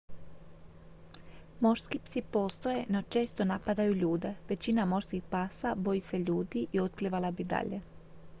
morski psi postoje no često napadaju ljude većina morskih pasa boji se ljudi i otplivala bi dalje